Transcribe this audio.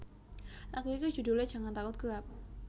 Lagu iki judhule Jangan Takut Gelap